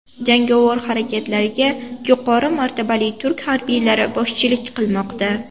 Jangovar harakatlarga yuqori martabali turk harbiylari boshchilik qilmoqda.